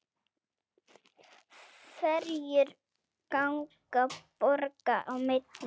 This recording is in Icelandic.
Ferjur ganga borga á milli.